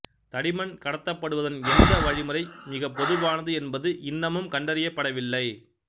தடிமன் கடத்தப்படுவதன் எந்த வழிமுறை மிகப்பொதுவானது என்பது இன்னமும் கண்டறியப்படவில்லை